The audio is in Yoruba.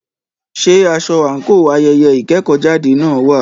Ṣé aṣọ àńkò ayẹyẹ ìkẹ́kọ̀jáde náà wà?